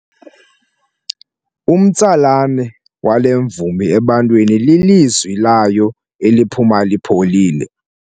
Umtsalane wale mvumi ebantwini lilizwi layo eliphuma lipholile.